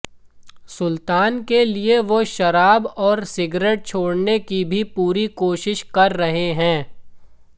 सुलतान के लिए वो शराब और सिगरेट छोड़ने की भी पूरी कोशिश कर रहे हैं